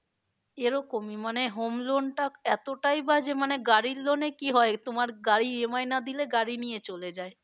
এরকমই মানে home loan টা এতটাই বাজে মানে গাড়ির loan এ কি হয় তোমার গাড়ির EMI না দিলে গাড়ি নিয়ে চলে যায়।